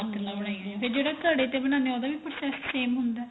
ਹੱਥ ਨਾਲ ਬਣਾਇਆ ਹੋਈਆਂ ਫੇਰ ਜਿਹੜਾ ਘੜੇ ਦੇ ਬਣਾਨੇ ਆ ਉਹਦਾ ਵੀ process same ਹੁੰਦਾ